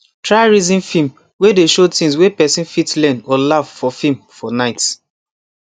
try reason film way dey show things way person fit learn or laugh for film for night